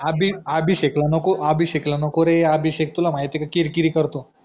अभि अभिषेख ला नको अभिषेख ला नको रे अभिषेख तुला माहिती रे किरकिरी करतो